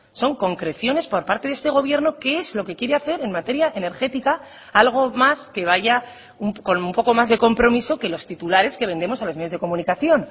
son concreciones por parte de este gobierno qué es lo que quiere hacer en materia energética algo más que vaya con un poco más de compromiso que los titulares que vendemos a los medios de comunicación